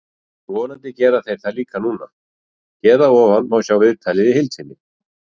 Vonandi gera þeir það líka núna. Hér að ofan má sjá viðtalið í heild sinni.